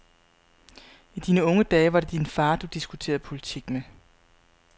I dine unge dage var det din far, du diskuterede politik med.